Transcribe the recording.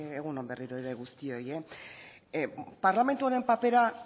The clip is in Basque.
egun on berriro ere guztioi parlamentu honen papera